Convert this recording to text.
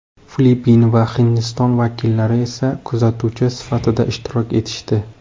Filippin va Hindiston vakillari esa kuzatuvchi sifatida ishtirok etishdi.